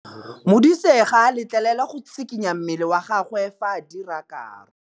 Modise ga a letlelelwa go tshikinya mmele wa gagwe fa ba dira karô.